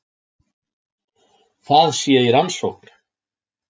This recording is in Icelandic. Það sé í rannsókn